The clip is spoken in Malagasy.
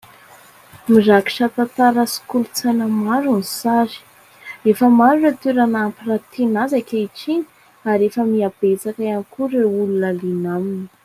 Mirakitra tantara sy kolontsaina maro ny sary. Efa maro ireo toerana ampiratiana azy ankehitriny ary efa mihabetsaka ihany koa ireo olona liana aminy.